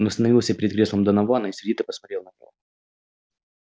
он остановился перед креслом донована и сердито посмотрел на него